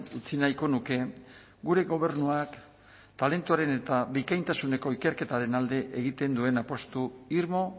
utzi nahiko nuke gure gobernuak talentuaren eta bikaintasuneko ikerketaren alde egiten duen apustu irmo